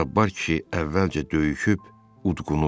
Cabbar kişi əvvəlcə döyüşüb, udqunub.